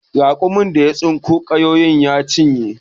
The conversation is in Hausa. Raƙumin dawa ya tsinko ganyayyaki ya cinye.